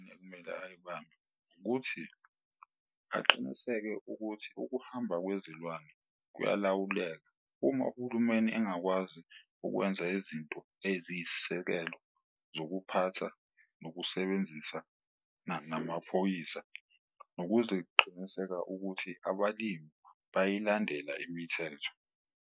Ekumele ayibambe ukuthi aqiniseke ukuthi ukuhamba kwezilwane kuyalawuleka. Uma uhulumeni engakwazi ukwenza izinto eziyisisekelo zokuphatha, nokusebenzisana namaphoyisa, nokuziqiniseka ukuthi abalimi bayayilandela imithetho.